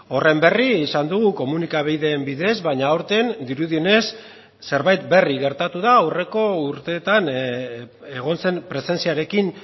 horren berri izan dugu komunikabideen bidez baina aurten dirudienez zerbait berri gertatu da aurreko urteetan egon zen presentziarekin